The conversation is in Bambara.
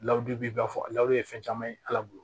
b'i ba fɔ ye fɛn caman ye ala bolo